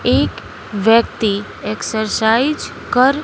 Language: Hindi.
एक व्यक्ति एक्सरसाइज कर--